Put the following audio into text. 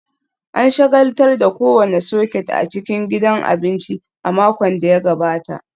An shagaltar da kowane soket a cikin gidan abinci a makon da ya gabata